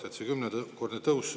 Nüüd on kümnekordne tõus.